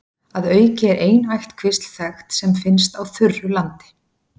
Að auki er ein ættkvísl þekkt sem finnst á þurru landi.